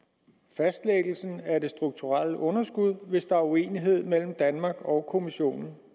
fastlæggelsen af det strukturelle underskud hvis der er uenighed mellem danmark og kommissionen